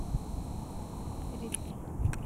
ридли